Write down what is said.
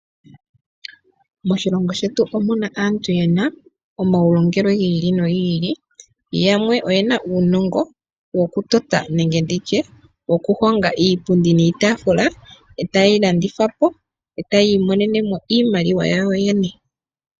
Moshilongo shetu omuna aantu yena omaulongelwe giili no giili yamwe oyena uunongo woku tota nenge woku honga iipundi niitafula, eta yeyi landitha po, eta yiimonenemo iimaliwa yawo yene.